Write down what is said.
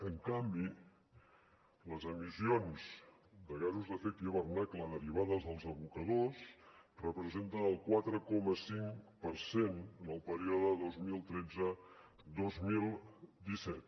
en canvi les emissions de gasos d’efecte d’hivernacle derivades dels abocadors representen el quatre coma cinc per cent en el període dos mil tretze dos mil disset